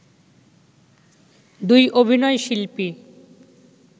দুই অভিনয়শিল্পী